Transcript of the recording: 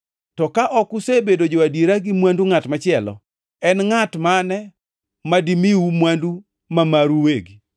To ka ok usebedo jo-adiera gi mwandu ngʼat machielo, en ngʼat mane madimiu mwandu ma maru uwegi?